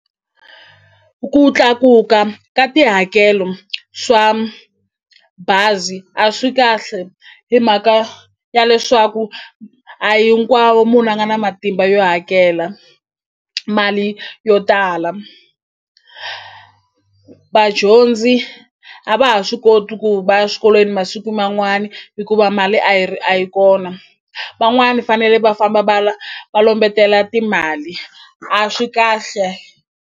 Ku tlakuka ka tihakelo swa bazi a swi kahle hi mhaka ya leswaku a hinkwawo munhu a nga na matimba yo hakela mali yo tala vadyondzi a va ha swi koti ku va ya swikolweni masiku man'wani hikuva mali a yi a yi kona van'wani fanele va famba va lombetela timali a swi kahle.